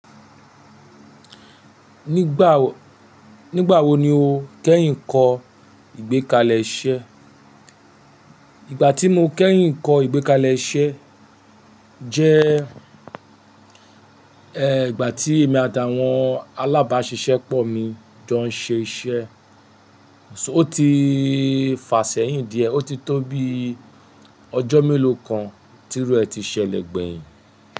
Nígbà wo ni o kẹ́yìn kọ ìgbékalẹ̀ iṣẹ́? Ìgbà tí mo kẹ́yìn kọ ìgbékalẹ̀ iṣẹ́ jẹ́ ẹ ìgbà tí èmi àti àwọn alábàṣiṣẹ́pọ̀ jọ ń ṣe iṣẹ́. Ó ti fàsẹ́yin díẹ̀, ó ti tó bi ọjọ́ mélòó kan tirú ẹ̀ ti ṣẹlẹ̀ gbẹ̀yìn.